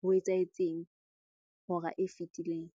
ho etsahetseng hora e fetileng.